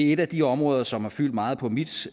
er et af de områder som har fyldt meget på mit